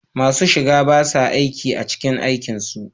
Masu shiga ba sa aiki a cikin aikin su